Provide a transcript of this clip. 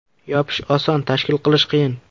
Yopish oson, tashkil qilish qiyin.